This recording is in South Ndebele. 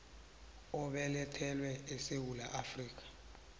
obelethelwe esewula afrika